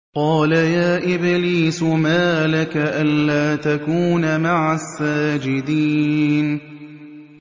قَالَ يَا إِبْلِيسُ مَا لَكَ أَلَّا تَكُونَ مَعَ السَّاجِدِينَ